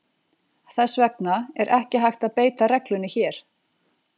Þess vegna er ekki hægt að beita reglunni hér.